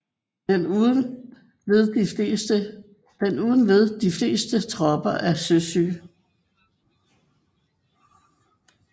Den uden led de fleste tropper af søsyge